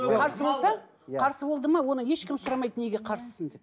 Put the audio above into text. қарсы болса қарсы болды ма оны ешкім сұрамайды неге қарсысың деп